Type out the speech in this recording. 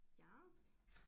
Yes